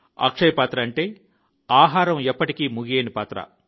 అక్షయ పాత్ర అంటే ఆహారం ఎప్పటికీ ముగియని పాత్ర